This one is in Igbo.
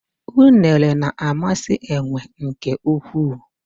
Unere na-amasị enwe nke ukwuu.